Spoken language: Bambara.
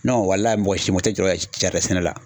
Nɔn walayi mɔgɔ si mɔgɔ te jɔrɔ jaridɛn sɛnɛ la